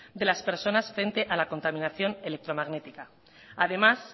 de las personas frente a la contaminación electromagnética además